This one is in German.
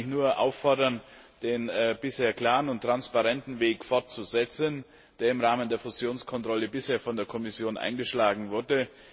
Auch hier kann ich nur dazu auffordern, den bisher klaren und transparenten Weg fortzusetzen, der im Rahmen der Fusionskontrolle bisher von der Kommission eingeschlagen wurde.